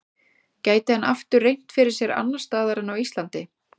Gæti hann aftur reynt fyrir sér annars staðar en á Íslandi?